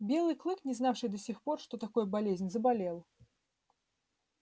белый клык не знавший до сих пор что такое болезнь заболел